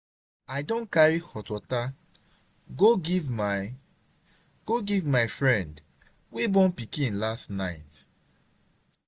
i don carry hot water go give my go give my friend wey born pikin last night.